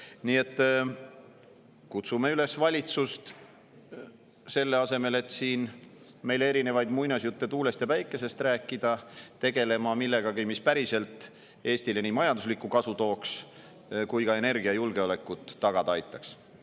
Nii et kutsume üles valitsust selle asemel, et meile siin erinevaid muinasjutte tuulest ja päikesest rääkida, tegelema millegagi, mis päriselt Eestile majanduslikku kasu tooks ja energiajulgeolekut tagada aitaks.